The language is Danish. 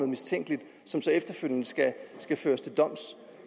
mistænkeligt som så efterfølgende skal skal føres til doms